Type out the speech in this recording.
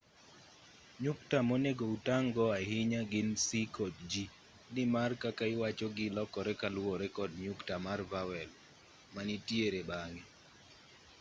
nyukta monego utang'go ahinya gin c kod g ni mar kaka iwachogi lokore kaluwore kod nyukta mar vowel manitiere bang'e